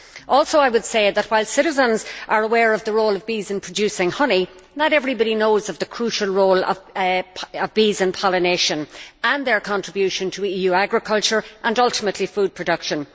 I would also say that, while citizens are aware of the role of bees in producing honey, not everybody knows of the crucial role of bees in pollination and their contribution to EU agriculture and, ultimately, food production.